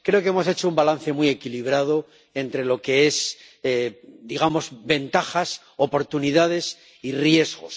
Creo que hemos hecho un balance muy equilibrado entre lo que son —digamos— ventajas, oportunidades y riesgos.